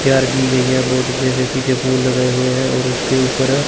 तैयार की गई है बहोत अच्छे से पीछे फूल लगै हुए हैं और उसके ऊपर--